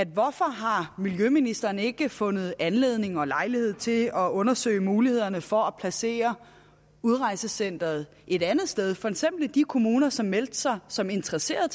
hvorfor har miljøministeren ikke fundet anledning og lejlighed til at undersøge mulighederne for at placere udrejsecenteret et andet sted for eksempel i de kommuner som meldte sig som interesseret